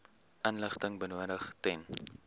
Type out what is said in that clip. inligting benodig ten